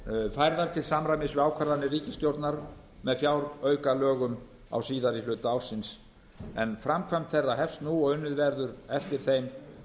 færðar til samræmis við ákvarðanir ríkisstjórnar með fjáraukalögum á síðari hluta ársins en framkvæmd þeirra hefst nú og unnið verður eftir þeim